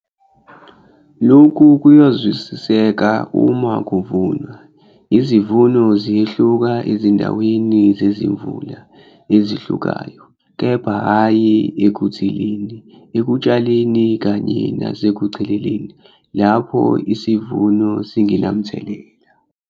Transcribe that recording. Loku kuyazwisiseka uma kuvunwa, izivuno ziyehluka ezindaweni zezimvula ezihlukayo, kepha hhayi ekuthileni, ekutshaleni kanye nasekucheleleni lapho isivuno singenamthelela.